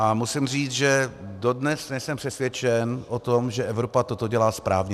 A musím říct, že dodnes nejsem přesvědčen o tom, že Evropa toto dělá správně.